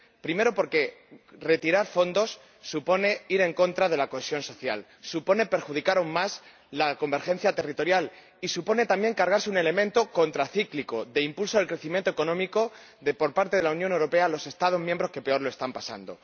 Segundo, porque retirar fondos supone ir en contra de la cohesión social, supone perjudicar aún más la convergencia territorial y supone también cargarse un elemento contracíclico de impulso al crecimiento económico por parte de la Unión Europea a los Estados miembros que peor lo están pasando.